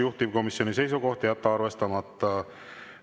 Juhtivkomisjoni seisukoht on jätta arvestamata.